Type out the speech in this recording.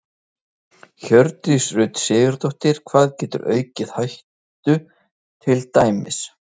Hjördís Rut Sigurjónsdóttir: Hvað getur aukið hættu til dæmis?